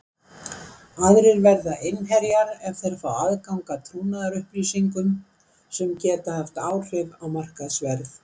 Aðrir verða innherjar ef þeir fá aðgang að trúnaðarupplýsingum sem geta haft áhrif á markaðsverð.